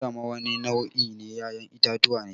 Gwanda ma wani nau' in 'ya'yan itatuwa ne.